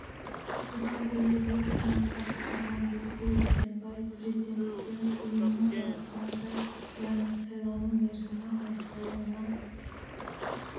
бұған дейін бұл қызметті атқарған бибігүл жексенбай президенттіктен ұйымның жарғысына сай яғни сайлану мерзімі аяқталуына